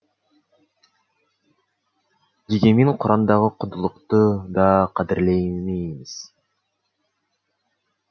дегенмен құрандағы құндылықты да қадірлемейміз